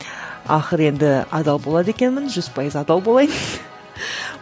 ақыры енді адал болады екенмін жүз пайыз адал болайын